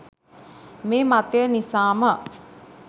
මේ මතය නිසාම